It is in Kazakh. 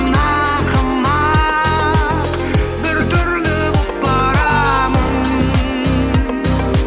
ақымақ бір түрлі боп барамын